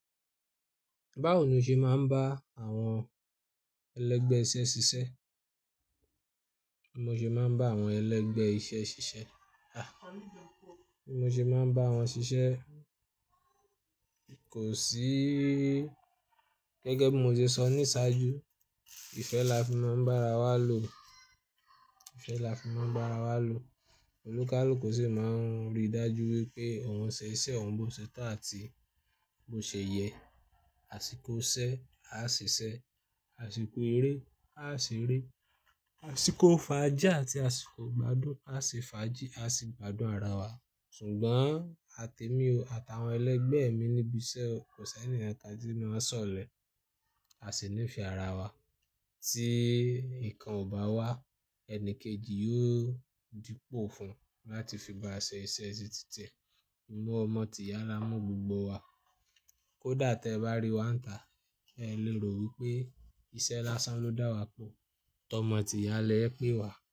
Báwo ló ṣe máa ń bá àwọn ẹlẹgbẹ́ iṣẹ́ ṣiṣẹ́? Mo ṣe máa ń bá àwọn ẹlẹgbẹ́ iṣẹ́ ṣiṣẹ́. Ah! Bimo ṣe máa ń bá wọn ṣiṣẹ́. Kò sí, gẹ́gẹ́ bí mo ṣe sọ ní ṣáájú, ìfẹ́ làfi máa ń bá ara wa lò. Ìfẹ́ làfi máa ń bá ara wa lò. Olùkálù ṣí máa ń rí dájú wípé ohun ṣe iṣẹ́, ohun bó tító àti bó ṣe yẹ. Àsìkò ṣẹ́, a ṣi ṣẹ. Àsìkò eré, a ṣẹ̀ eré. Àsìkò fàájì àti àsìkò gbádùn, a ṣe fàájì, a ṣi gbádùn ara wa. Ṣùgbọ́n àti èmi o, àtàwọn ẹlẹgbẹ́ mi níbi iṣẹ́ o, kò sí ẹnìkankan tí mo sọ̀lẹ̀. A sì níìfẹ́ ara wa. Tí ikan ò bá wà, ẹni kejì yóò dípò fún un láti fi bá a ṣe iṣẹ́ títí ti e ìmú ọmọ tìyá là mú gbogbo wa. Kódà tẹ bá rí wáǹtà, ẹ lè rò wípé iṣẹ́ lásán ló dá wa pọ̀. Tọmọ tìya lè e pè wa.